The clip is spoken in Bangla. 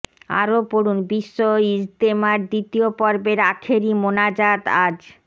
আরো পড়ুন বিশ্ব ইজতেমার দ্বিতীয় পর্বের আখেরি মোনাজাত আজ